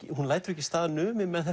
hún lætur ekki staðar numið með